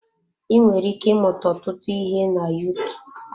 Ị nwere ike ịmụta ọtụtụ ihe na Yutuub.